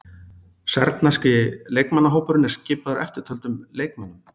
Serbneski leikmannahópurinn er skipaður eftirtöldum leikmönnum.